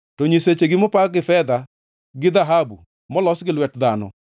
To nyisechegi mopa gin fedha gi dhahabu, molos gi lwet dhano.